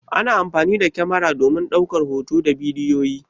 Ana amfani da kamara domin ɗaukar hotuna da bidiyoyi.